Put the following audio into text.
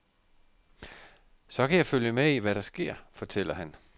Så kan jeg følge med i, hvad der sker, fortæller han.